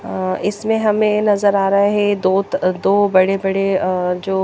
अ इसमें हमें नज़र आ रहे है दो त अ दो बड़े बड़े अ जो --